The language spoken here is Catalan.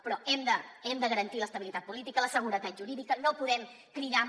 però hem de garantir l’estabilitat política la seguretat jurídica no podem cridar a